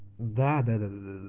да-да-да